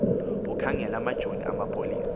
ukhangele amajoni amapolisa